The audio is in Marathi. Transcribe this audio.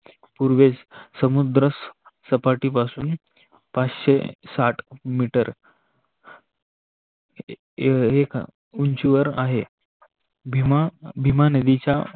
पूर्वेस समुद्रसपाठी पासुन पाचशे साठ मिटर एका उंचीवर आहे. भीमा नदीच्या